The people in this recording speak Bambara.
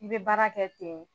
I bɛ baara kɛ ten